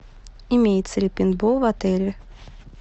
имеется ли пейнтбол в отеле